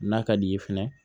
N'a ka d'i ye fɛnɛ